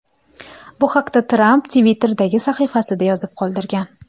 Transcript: Bu haqda Tramp Twitter’dagi sahifasida yozib qoldirgan .